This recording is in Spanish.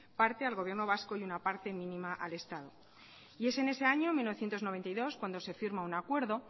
parte al gobierno vasco y una parte mínima al estado y es en ese año mil novecientos noventa y dos cuando se firma un acuerdo